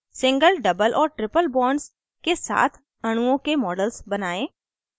* single double और triple bonds के साथ अणुओं के models बनायें